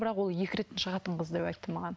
бірақ ол екі рет шығатын қыз деп айтты маған